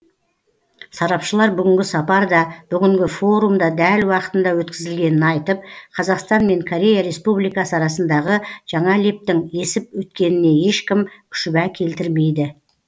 сарапшылар бүгінгі сапар да бүгінгі форум да дәл уақытында өткізілгенін айтып қазақстан мен корея республикасы арасындағы жаңа лептің есіп өткеніне ешкім шүбә келтірмейді